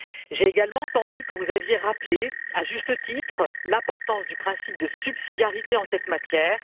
J'ai également entendu que vous aviez rappelé, à juste titre, l'importance du principe de subsidiarité en cette matière.